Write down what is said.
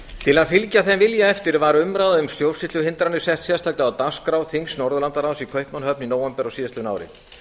til að fylgja þeim vilja eftir var umræða um stjórnsýsluhindranir sett sérstaklega á dagskrá þings norðurlandaráðs í kaupmannahöfn í nóvember á síðastliðnu ári